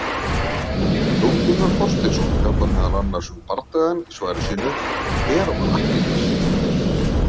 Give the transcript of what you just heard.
Jón Gunnar Þorsteinsson fjallar meðal annars um bardagann í svari sínu, Hver var Akkiles?